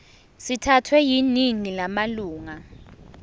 sithathwe yiningi lamalunga